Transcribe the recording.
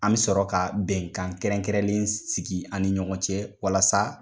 An bɛ sɔrɔ ka bɛnkan kɛrɛnkɛrɛnnen sigi ani ɲɔgɔn cɛ walasa